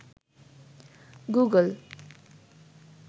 Google